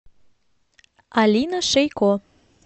алина шейко